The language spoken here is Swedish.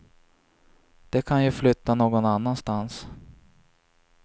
De kan ju flytta någon annanstans.